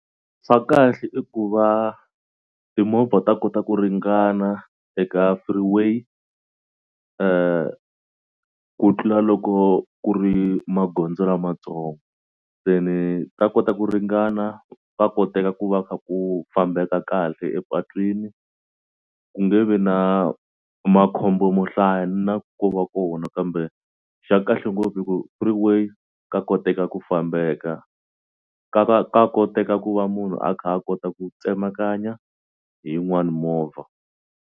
Swa kahle i ku va timovha ta kota ku ringana eka freeway ku tlula loko ku ri magondzo lamatsongo se ni ta kota ku ringana va koteka ku va kha ku fambeka kahle epatwini ku nge vi na makhombo mo hlaya na ko va kona ka kambe xa kahle ngopfu i ku freeway ka koteka ku fambeka ka va ka ka koteka ku va munhu a kha a kota ku tsemakanya hi yin'wani movha.